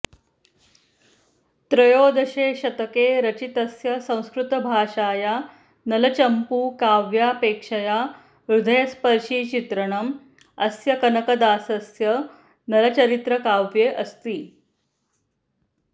त्रयोदशेशतके रचितस्य संस्कृतभाषाया नलचम्पू काव्यापेक्षया हृदयस्पर्शि चित्रणम् अस्य कनकदासस्य नलचरित्रकाव्ये अस्ति